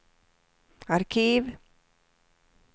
arkiv